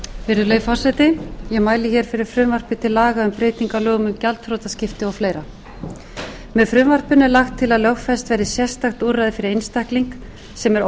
virðulegi forseti ég mæli fyrir frumvarpi til laga um breytingu á lögum um gjaldþrotaskipti og fleira með frumvarpinu er lagt til að lögfest verði sérstakt úrræði fyrir einstakling sem er